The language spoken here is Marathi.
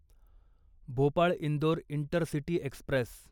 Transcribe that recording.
Bhopal Indore intercity Express